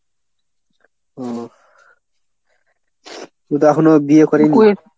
ও কিন্তু এখনো বিয়ে করেনি?